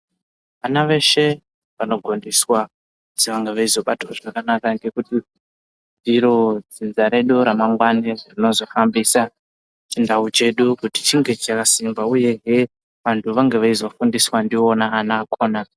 Ana eshe anogondiswa kuti vange veizobatwa zvakanaka ngekuti ndiro dzinza redu ramangwani rinozohambisa chindau chedu kuti chinge chakasimba, uyehe vange veizofundiswa ndivona ana akona.